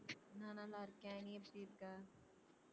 நான் நல்லாருக்கேன் நீ எப்படி இருக்க